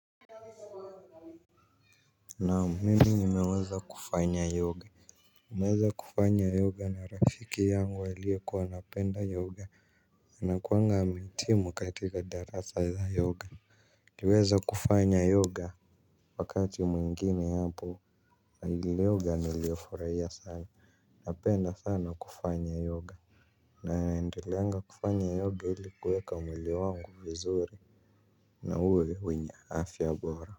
Naam mimi nimeweza kufanya yoga nimeweza kufanya yoga na rafiki yangu aliyekuwa anapenda yoga. Anakuanga ameitimu katika darasa la yoga. Tiweza kufanya yoga. Wakati mwingine hapo Agile yoga nilioforaia sana. Napenda sana kufanya yoga. Na naendeleaga kufanya yoga ilikuweka mwile wangu vizuri na uwe winye afya bora. Kwa hivyo.